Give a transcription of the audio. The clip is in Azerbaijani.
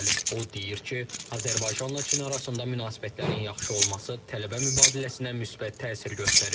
O deyir ki, Azərbaycanla Çin arasında münasibətlərin yaxşı olması tələbə mübadiləsinə müsbət təsir göstərir.